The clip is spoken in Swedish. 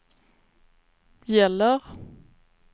gäller